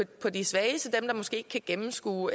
på de svageste dem der måske ikke kan gennemskue